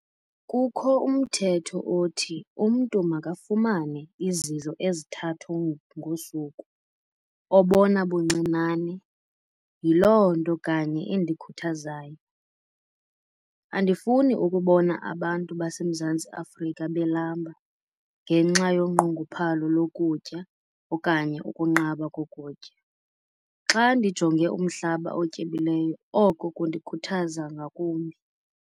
Kukho umthetho othi umntu makafumane izidlo ezithathu ngosuku obona buncinane - yiloo nto kanye endikhuthazayo. Andifuni ukubona abantu baseMzantsi Afrika belamba ngenxa yonqongophalo lokutya okanye ukunqaba kokutya. Xa ndijonge umhlaba otyebileyo oko kundikhuthaza ngakumbi.